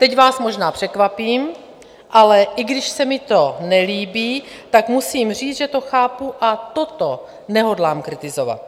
Teď vás možná překvapím, ale i když se mi to nelíbí, tak musím říct, že to chápu, a toto nehodlám kritizovat.